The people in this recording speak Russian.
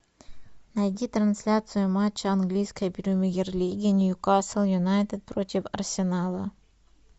найди трансляцию матча английской премьер лиги ньюкасл юнайтед против арсенала